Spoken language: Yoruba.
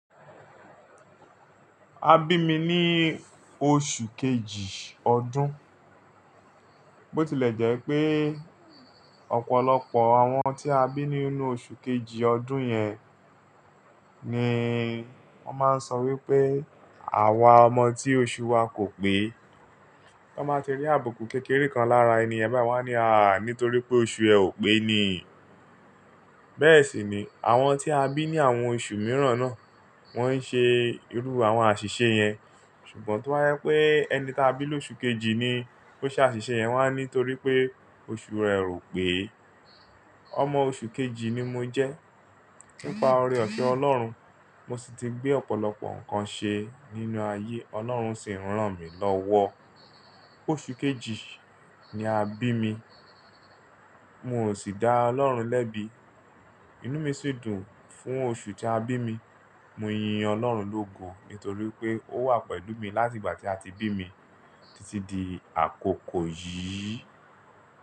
A bí mi ní oṣù kejì ọdún. Bo tilẹ̀ jẹ́ pé ọ̀pọ̀lọpọ̀ àwọn tí a bí ní inú oṣù kejì ọdún yẹn ni wọ́n máa ń sọ wípé àwa ọmọ tí oṣù wa kò pé. Tó n báa ti rí àbùkù kékeré kan lára ènìyàn bayi wá ní à nítorí pé oṣù ẹ ò pé ni. Bẹ́ẹ̀ sì ni àwọn tí a bí ní àwọn oṣù mìíràn náà, wọ́n ń ṣe irú àwọn àṣìṣe yẹn. Ṣùgbọ́n tó ba jépe ẹni ta bí lóṣù kejì ni ló ṣe àṣìṣe yẹn, wọ́n á ní torí pé oṣù rẹ ò pé. Ọmọ oṣù kejì ni mo jẹ́. Nípa oore ọ̀fẹ Ọlọ́run, mo sì ti gbé ọ̀pọ̀lọpọ̀ nǹkan ṣe nínú ayé, Ọlọ́run sì ń rán mi lọ́wọ́. Oṣù kejì ni a bí mi. Hun o sì dá Ọlọ́run lẹ́bi. Inú mi sì dùn fún oṣù tí a bí mi. Mo yin Ọlọ́run lógo nítorí pé Ó wà pẹ̀lú mi láti ìgbà tí a ti bí mi títí di àkókò yìí.